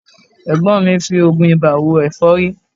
Ẹ̀gbọ́n mi ń fi oògùn ibà wo ẹ̀fọ́rí